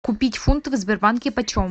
купить фунты в сбербанке почем